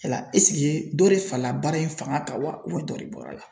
Yala ɛsike dɔ de fala baara in fanga kan wa dɔ de bɔra la?